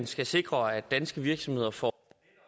skal sikre at danske virksomheder får